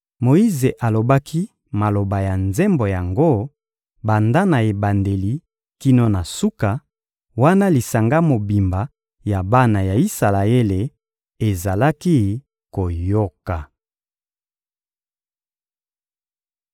Moyize alobaki maloba ya nzembo yango, banda na ebandeli kino na suka, wana lisanga mobimba ya bana ya Isalaele ezalaki koyoka: